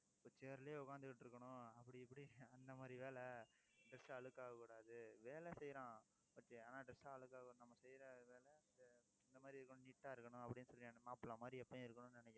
இப்ப chair லயே உட்கார்ந்துகிட்டு இருக்கணும். அப்படி, இப்படி அந்த மாதிரி வேலை dress அழுக்காக கூடாது. வேலை செய்யறான். but ஆனா dress அழுக்காகும் நம்ம செய்யற வேலை இந்த மாதிரி, கொஞ்சம் neat ஆ இருக்கணும் அப்படின்னு சொல்லி அந்த மாப்பிள்ளை மாதிரி எப்பவும் இருக்கணும்ன்னு நினைக்கிறான்